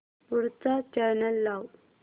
पुढचा चॅनल लाव